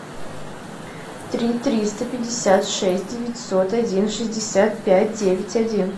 три триста пятьдесят шесть девятьсот один шестьдесят пять девять один